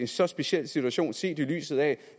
så speciel situation set i lyset af at